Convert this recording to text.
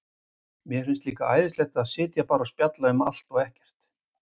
Mér finnst líka æðislegt að sitja bara og spjalla um allt og ekkert.